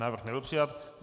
Návrh nebyl přijat.